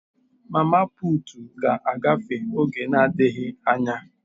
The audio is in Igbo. mama putu ga-agafe oge na adighi anya.